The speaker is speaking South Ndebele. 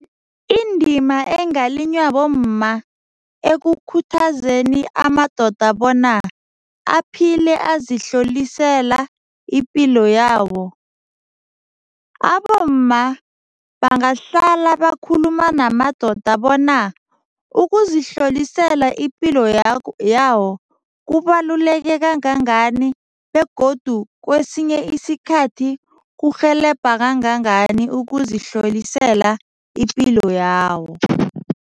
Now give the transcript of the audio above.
Indima engalinywa bomma ekukhuthazeni amadoda bona aphile azihlolisela ipilo yabo, abomma bangahlala bakhuluma namadoda bona ukuzihlolisela ipilo yawo kubaluleke kangangani begodu kwesinye isikhathi kurhelebha kangangani ukuzihlolisela ipilo yawo.